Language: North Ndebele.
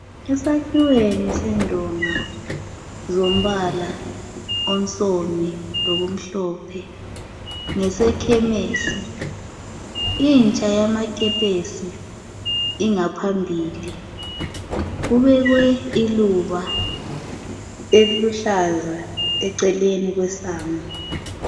Esakhiweni sendonga , zombala onsomi, lokumhlophe , ngesekhemisi. Intsha yamakepesi, iphambi kodonga. Kubekwe iluba eliluhlaza eceleni kwesango.